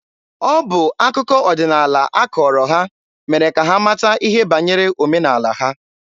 Ọ bụ akụkọ ọdịnaala a kọọrọ ha mere ka ha mata ihe banyere omenaala ha.